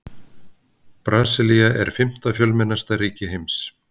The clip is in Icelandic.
Brasilía er fimmta fjölmennasta ríki heims.